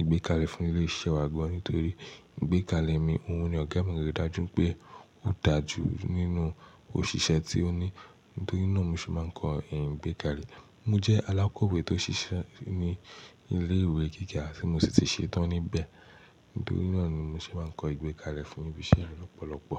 ìgbékalẹ̀ fún ilé iṣẹ́ wa gan nítorí ìgbékalẹ̀ mi, òun ni ọ̀gá mi rí i dájú pé ó dà jù nínú òṣìṣẹ́ tí ó ní. Nítorí náà mo sì máa ń kọ́ è ìgbékalẹ̀. Mo jẹ́ alákọ̀wé tó ń ṣiṣẹ́ ní ilé ìwé gíga tí mo sì ti ṣetán níbẹ̀. Nítorí náà ni mo se máa ń kọ ìgbékalẹ̀ fún ibi iṣẹ́ lọ́pọ̀lọpọ̀.